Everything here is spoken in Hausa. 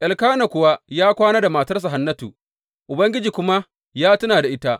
Elkana kuwa ya kwana da matarsa Hannatu, Ubangiji kuma ya tuna da ita.